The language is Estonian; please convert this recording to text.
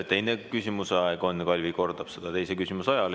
Ka teise küsimuse aeg on, Kalvi kordab seda teise küsimuse ajal.